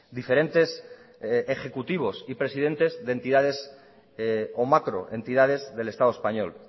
diferentes ejecutivos y presidentes de entidades o macroentidades del estado español